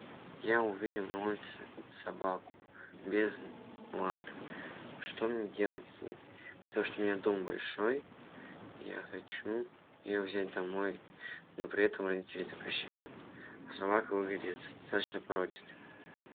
я увидел на улице собаку без лапы что мне делать с ней потому что у меня дом большой я хочу ее взять домой но при этом родители запрещают а собака выглядит достаточно породистой